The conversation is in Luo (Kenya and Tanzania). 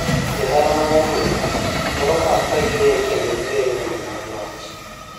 Johera mad adhula luoro pap ka giwer kendo giwero wende loch